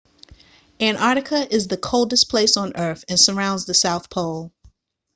antarctica is the coldest place on earth and surrounds the south pole